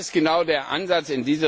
Das ist genau der Ansatz.